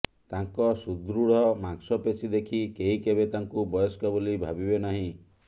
ତାଙ୍କ ସୁଦୃଢ଼ ମାଂସପେଶୀ ଦେଖି କେହି କେବେ ତାଙ୍କୁ ବୟସ୍କ ବୋଲି ଭାବିବେ ନାହିଁ